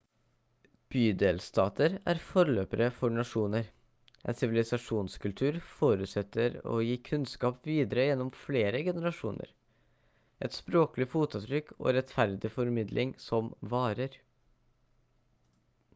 bydelstater er forløpere for nasjoner en sivilisasjonskultur forutsetter å gi kunnskap videre gjennom flere generasjoner et språklig fotavtrykk og rettferdig formidling som varer